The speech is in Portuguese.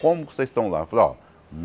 Como vocês estão lá? Eu falei ó